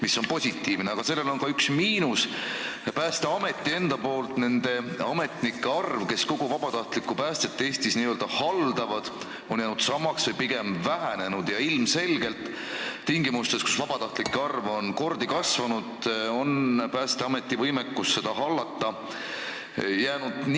See on positiivne, aga sellel taustal hakkab silma üks miinus: Päästeameti enda nende ametnike arv, kes kogu vabatahtlikku päästet Eestis n-ö haldavad, on jäänud samaks või pigem vähenenud ning ilmselgelt on tingimustes, kus vabatahtlike arv on kordi kasvanud, Päästeameti võimekus seda hallata nigelaks jäänud.